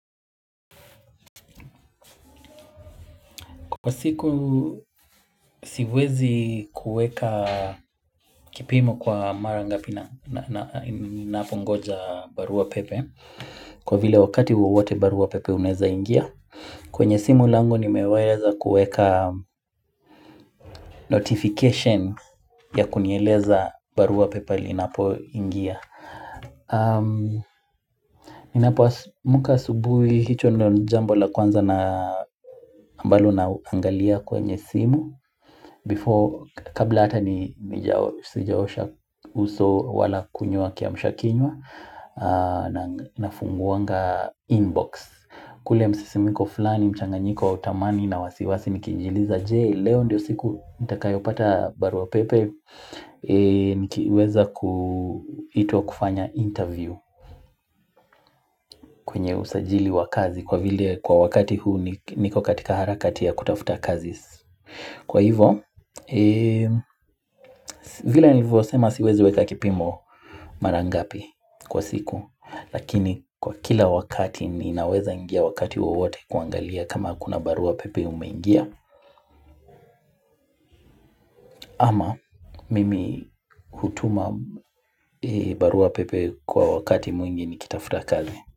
Kwa siku siwezi kuweka kipimo kwa mara ngapi na na ninapo ngoja barua pepe Kwa vile wakati wawote barua pepe unaweza ingia kwenye simu langu nimeweza kueka notification ya kunieleza barua pepe liinapo ingia Ninapo amka asubuhi hicho ndo ni jambo la kwanza na mabalo naangalia kwenye simu Before, kabla hata ni sijaosha uso wala kunywa kiamsha kinywa nafunguanga inbox kule msisimiko flani, mchanga nyiko wa tamani na wasiwasi nikiijiuliza Je leo ndio siku nitakayo pata barua pepe Nikiweza kuitwa kufanya interview kwenye usajili wa kazi Kwa vile kwa wakati huu niko katika harakati ya kutafuta kazi Kwa hivyo, vile nivyo sema siwezi weka kipimo mara ngapi kwa siku Lakini kwa kila wakati ninaweza ingia wakati wowote kuangalia kama hakuna barua pepe umeingia mimi hutuma barua pepe kwa wakati mwingi nikitafuta kazi.